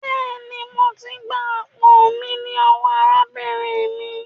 Béèni, mọ tí gbà àpò mí lówó arábìnrin mí.